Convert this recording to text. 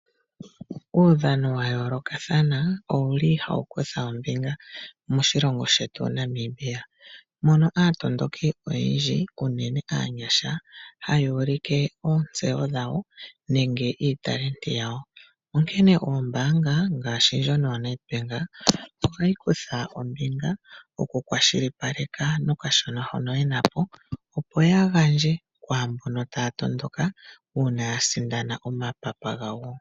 Uudhano wa yoolokathana owuli hawu kutha ombinga moshilongo shetu Namibia . Mono aatondoki oyendji unene aanyasha haya uulike oontseyo dhawo nenge iitalenti yawo . Onkene ombaanga ngaashi ndjino yaNedBank ohayi kutha ombinga mokukwashilipaleka nokashona hono yena po , opo ya gandje kwaambono taya tondoka uuna taya sindana omapapa gawo .